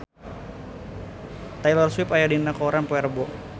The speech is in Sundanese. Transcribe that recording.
Taylor Swift aya dina koran poe Rebo